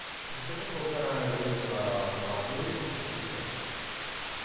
закажи полтора литра воды сестрица